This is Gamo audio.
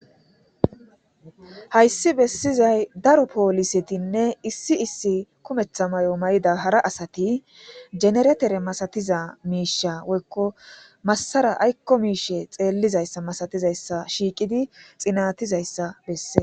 Hayssi bessizay daro poolisetinne issi issi kumeththa may7o may7ida hara asati generetere masatiza miisha woykko massara aykko miishe xeellizayssa masatizayssa shiiqidi xinatizayssa besses.